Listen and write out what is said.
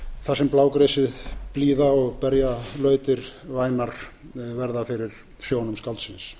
þar sem blágresið blíða og berjalautir vænar verða fyrir sjónum skáldsins